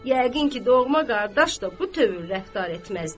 Yəqin ki, doğma qardaş da bu tövr rəftar etməzdi.